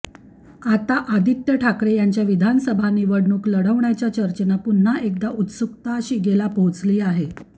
आता आदित्य ठाकरे यांच्या विधानसभा निवडणूक लढवण्याच्या चर्चेनं पुन्हा एकदा उत्सुकता शिगेला पोहोचली आहे